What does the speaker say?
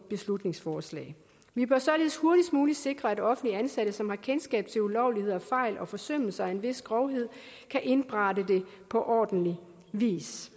beslutningsforslag vi bør således hurtigst muligt sikre at offentligt ansatte som har kendskab til ulovligheder fejl og forsømmelser af en vis grovhed kan indberette det på ordentlig vis